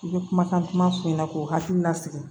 I bɛ kumakan kuma f'i ɲɛna k'u hakili la sigi